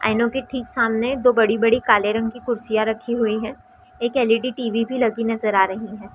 आईनों के ठीक सामने दो बड़ी-बड़ी काले रंग की कुर्सियाँ रखी हुई है एक L. E. D. T. V भी लगी नजर आ रही हैं।